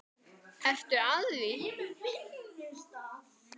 Ertu að því?